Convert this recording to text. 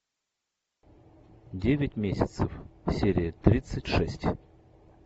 девять месяцев серия тридцать шесть